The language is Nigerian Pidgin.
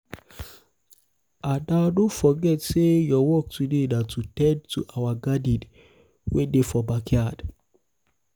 ada no forget say your work today na to ten d to our garden wey dey for backyard